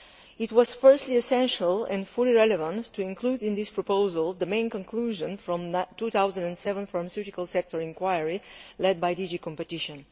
It was, firstly, essential and fully relevant to include in this proposal the main conclusion of the 2007 pharmaceutical sector inquiry led by DG Competition.